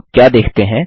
और आप क्या देखते हैं